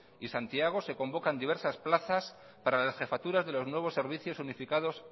y santiago se convocan diversas plazas para las jefaturas de los nuevos servicios unificados